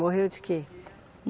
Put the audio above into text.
Morreu de quê?